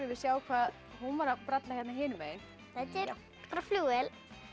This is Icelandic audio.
sjá hvað hún var að bralla hinum megin þetta er flugvél